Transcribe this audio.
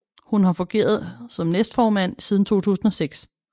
Hun har fungeret som næstformand siden 2006